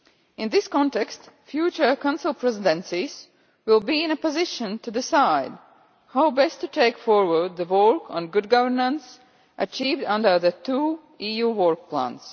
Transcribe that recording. In this context, future Council presidencies will be in a position to decide how best to take forward the role on good governance achieved under the two EU work plans.